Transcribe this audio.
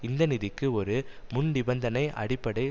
இந்த நிதிக்கு ஒரு முன்னிபந்தனை அடிப்படை